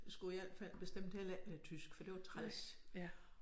Skulle i al fald bestemt heller ikke have tysk for det var træls